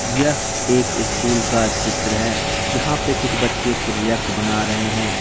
यह एक स्कूल का चित्र है यहां पे कुछ बच्चे प्रोजेक्ट बना रहे हैं।